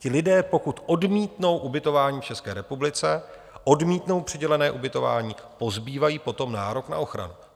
Ti lidé, pokud odmítnou ubytování v České republice, odmítnou přidělené ubytování, pozbývají potom nárok na ochranu.